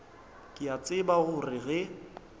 ke a tseba gore ge